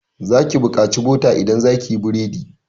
Za ki bukaci bota idan zaki yi burodi.